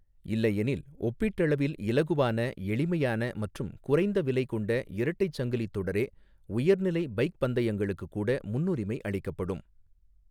இல்லையெனில், ஒப்பீட்டளவில் இலகுவான, எளிமையான மற்றும் குறைந்த விலை கொண்ட இரட்டை சங்கிலித் தொடரே உயர் நிலை பைக் பந்தயங்களுக்கு கூட முன்னுரிமை அளிக்கப்படும்.